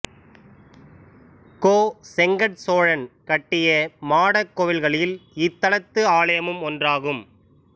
கோசெங்கட் சோழன் கட்டிய மாடக் கோவில்களில் இத்தலத்து ஆலயமும் ஒன்றாகும்